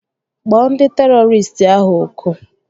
Kpọọ ndị terọristị ahụ ọkụ!